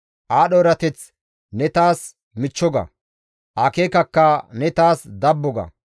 Aadho erateth ne taas michcho ga; akeekakka ne taas dabbo ga.